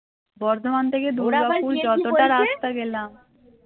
বর্ধমান থেকে দুর্গাপুর যতটা রাস্তা গেলাম